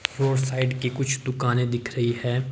Road side की कुछ दुकानें दिख रही हैं।